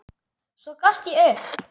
Svo gafst ég upp.